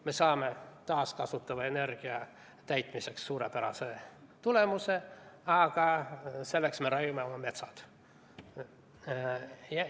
Me saame taaskasutatava energia ülesande täitmisel suurepärase tulemuse, aga selleks me raiume oma metsad maha.